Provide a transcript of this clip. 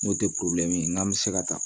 N'o tɛ n'an bɛ se ka ta